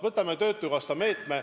Võtame töötukassa meetme.